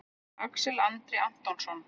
Axel Andri Antonsson